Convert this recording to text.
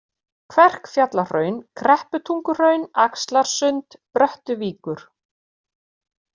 Kverkfjallahraun, Krepputunguhraun, Axlarsund, Bröttuvíkur